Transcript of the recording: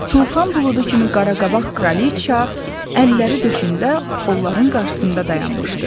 Tufan buludu kimi qaraqabaq Kraliçea, əlləri döşündə onların qarşısında dayanmışdı.